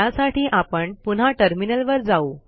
त्यासाठी आपण पुन्हा टर्मिनलवर जाऊ